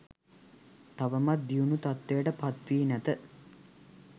තවමත් දියුණු තත්ත්වයට පත්වී නැත.